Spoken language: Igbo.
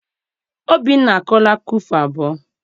Obinna akọọla akụkọ ifo abụọ.